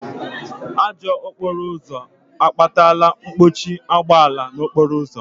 Ajọ okporo ụzọ akpatala mkpọchi ụgbọala n'okporo ụzọ